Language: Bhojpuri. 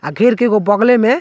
आ घेर के एगो बगले में --